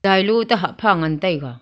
cheilo te hah pha ngan taiga.